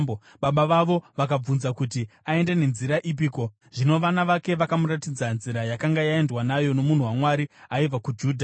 Baba vavo vakavabvunza kuti, “Aenda nenzira ipiko?” Zvino vana vake vakamuratidza nzira yakanga yaendwa nayo nomunhu waMwari aibva kuJudha.